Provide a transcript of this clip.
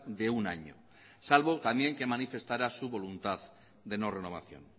de un año salvo también que manifestara su voluntad de no renovación